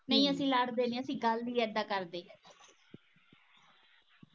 ਨਹੀਂ ਅਸੀ ਲੜਦੇ ਨਹੀਂ ਅਸੀ ਗੱਲ ਈ ਏਦਾਂ ਕਰਦੇ